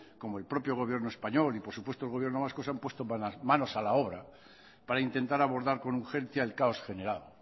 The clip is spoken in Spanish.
como el propio gobierno español y por supuesto el gobierno vasco se han puesto con las manos a la obras para intentar abordar con urgencia el caos generado